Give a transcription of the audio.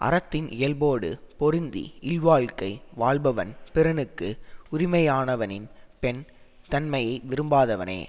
அறத்தின் இயல்போடு பொருந்தி இல்வாழ்க்கை வாழ்பவன் பிறனுக்கு உரிமையானவனின் பெண் தன்மையை விரும்பாதவனே